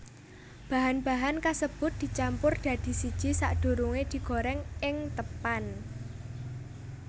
Bahan bahan kasebut dicampur dadi siji sadurunge digoreng ing teppan